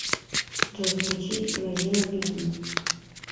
джой включи назима беги